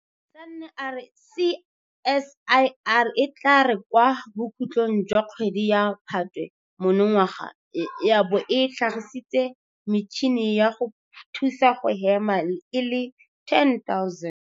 Sanne a re CSIR e tla re kwa bokhutlong jwa kgwedi ya Phatwe monongwaga ya bo e tlhagisitse metšhini ya go thusa go hema e le 10 000.